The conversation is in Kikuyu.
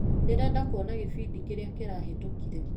Ndĩrenda kuona gĩbindi kĩrĩa kirahetũkire.